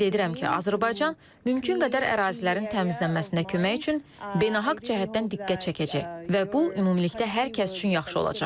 Ümid edirəm ki, Azərbaycan mümkün qədər ərazilərin təmizlənməsinə kömək üçün beynəlxalq cəhətdən diqqət çəkəcək və bu ümumilikdə hər kəs üçün yaxşı olacaq.